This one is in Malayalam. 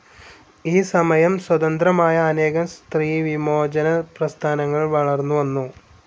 ഈ സമയം സ്വതന്ത്രമായ അനേകം സ്ത്രീ വിമോചന പ്രസ്ഥാനങ്ങൾ വളർന്നു വന്നു.